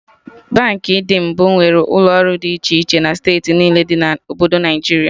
Baankị ndị mbụ nwere ụlọ ọrụ dị iche iche na steeti niile dị na Obodo Naịjiria